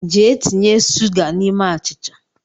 Jee tinye suga n’ime achịcha